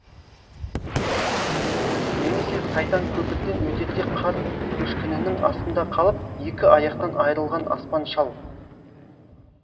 немесе сайтан көпірден өтерде қар көшкінінің астында қалып екі аяқтан айырылған аспан шал